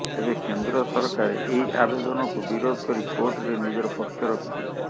ତେବେ କେନ୍ଦ୍ର ସରକାର ଏହି ଆବେଦନକୁ ବିରୋଧ କରି କୋର୍ଟରେ ନିଜର ପକ୍ଷ ରଖିଥିଲେ